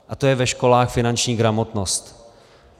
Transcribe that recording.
A to je ve školách finanční gramotnost.